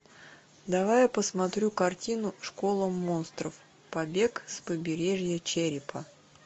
давай я посмотрю картину школа монстров побег с побережья черепа